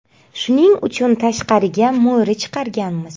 Shuning uchun tashqariga mo‘ri chiqarganmiz.